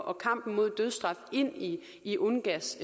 og kampen mod dødsstraf ind i i ungass